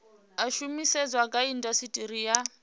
a shumiseswa kha indasiteri ya